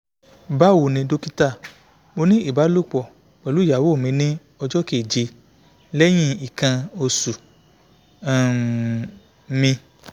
bawoni dokita mo ni ibalopo pelu iyawo mi ni ojo keje lehin ikan osu um mi